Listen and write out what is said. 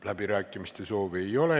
Läbirääkimiste soovi ei ole.